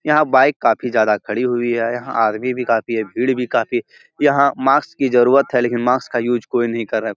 याहा बाइक काफी ज्यादा खड़ी हुई है। याहा याहा आर्मी भी काफी है। भीड़ भी काफी है। याहा मास्क की जरूरत है। लेकिन मास्क का यूज कोई नहीं कर राहा।